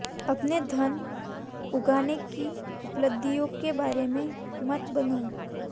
अपने धन उगाहने की उपलब्धियों के बारे में मत बनो